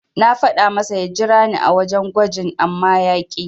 Na faɗa masa ya jirani a wajen gwajin amma ya ƙi.